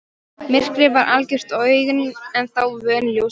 Myrkrið var algjört og augun ennþá vön ljósinu.